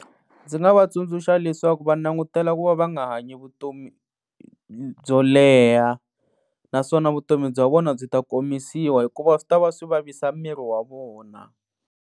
Ndzi nga va tsundzuxa leswaku va langutela ku va va nga hanyi vutomi byo leha naswona vutomi bya vona byi ta komisiwa hikuva swi ta va swi vavisa miri wa vona.